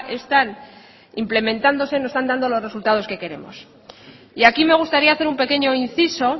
están implementándose no están dando los resultados que queremos y aquí me gustaría hacer un pequeño inciso